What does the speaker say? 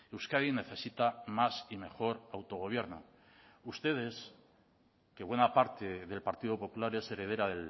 euskadi necesita más y mejor autogobierno ustedes que buena parte del partido popular es heredera